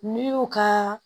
N'i y'u ka